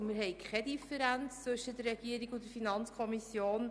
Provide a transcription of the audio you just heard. Wir haben keine Differenz zwischen der Regierung und der FiKo.